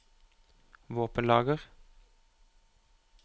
våpenlager